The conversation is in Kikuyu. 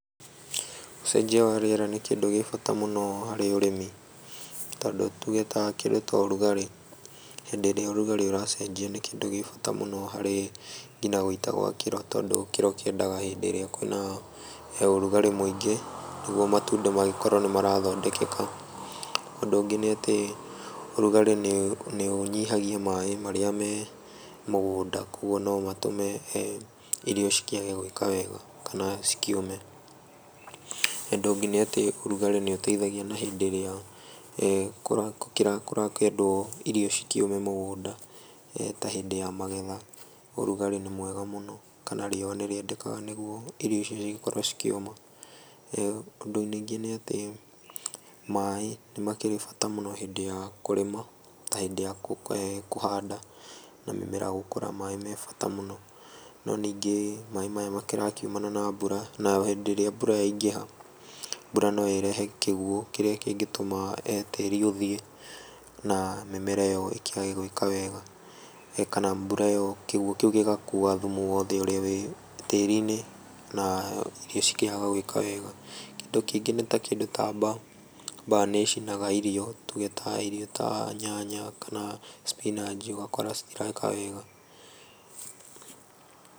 Ũcenjia wa rĩera nĩ kĩndũ gĩ bata mũno harĩ ũrĩmi tondũ tuge kĩndũ ta ũrugarĩ. Hĩndĩ ĩrĩa ũrugarĩ ũracenjia nĩ kĩndũ gĩ bata mũno harĩ nginya gũita gwa kĩro tondũ kĩro kĩendaga hĩndĩ ĩrĩa kwĩ na ũrugarĩ mũingĩ nĩguo matunda magĩkorwo nĩ marathondekeka. Ũndũ ũngĩ nĩ atĩ ũrugarĩ nĩ ũnyihagia maaĩ marĩa me mũgũnda kogwo no matũme irio cikĩage gwĩka wega kana cikĩũme. Ũndũ ũngĩ nĩ atĩ ũrugarĩ nĩ ũteithagia na hĩndĩ ĩrĩa kũrakĩendwo irio cikĩũme mũgũnda, ta hĩndĩ ya magetha ũrugarĩ nĩ mwega mũno, kana rĩũa nĩ rĩendekaga nĩguo irio cigĩkorwo cikĩũma. Ũndũ ningĩ nĩ atĩ maaĩ nĩ makĩrĩ bata mũno hĩndĩ ya kũrĩma na hĩndĩ ya kũhanda, na mĩmera gũkũra maaĩ me bata mũno. No ningĩ maaĩ maya makĩrakiumana na mbura na hĩndĩ ĩrĩa mbura yaingĩha, mbura no ĩrehe kĩguũ kĩrĩa kĩngĩtũma tĩri ũthiĩ na mĩmera ĩyo ĩkĩage gwĩka wega, kana mbura iyo, kĩguũ kĩu gĩgakuua thumu wothe ũrĩa wĩ tĩri-inĩ na irio cikaga gwĩka wega. Kĩndũ kĩngĩ nĩ ta kĩndũ ta mbaa. Mbaa nĩ ĩcinaga irio, tũgĩtaga irio ta nyanya kana spinanji ũgakora citireka wega.